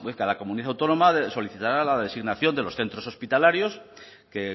cada comunidad autónoma solicitará la designación de los centros hospitalarios que